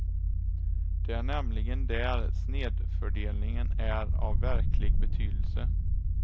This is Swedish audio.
Det är nämligen där snedfördelningen är av verklig betydelse.